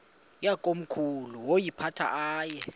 yakomkhulu woyiphatha aye